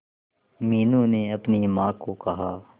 मीनू ने अपनी मां को कहा